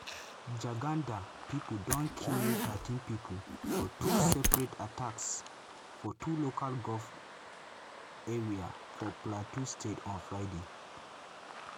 jagunda pipo don kill thirteen pipo for two separate attacks for two local goment area for plateau state on friday.